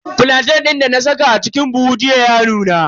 Flantain din dana saka a cikin buhu jiya ya nuna.